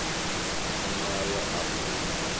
muṋe wayo a mulimi wa